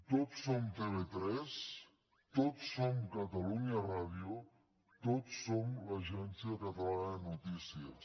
tots som tv3 tots som catalunya ràdio tots som l’agència catalana de notícies